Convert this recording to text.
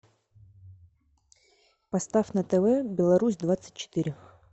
поставь на тв беларусь двадцать четыре